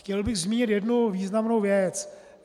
Chtěl bych zmínit jednu významnou věc.